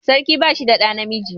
Sarkin ba shi da ɗa namiji